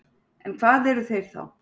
En hvað eru þeir þá?